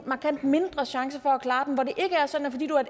markant mindre chance for at klare den og hvor det ikke er sådan at fordi du er